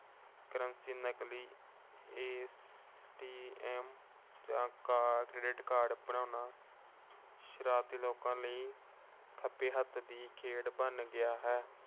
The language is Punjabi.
curreny ਨਕਲੀ ATM ਜਾਂ credit card ਬਣਾਉਣਾ ਸ਼ਰਾਰਤੀ ਲੋਕਾਂ ਲਈ ਖੱਬੇ ਹੱਥ ਦੀ ਗਲ ਬਣ ਗਿਆ ਹੈ।